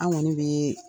An kɔni bɛ